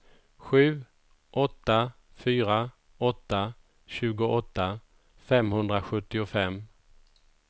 sju åtta fyra åtta tjugoåtta femhundrasjuttiofem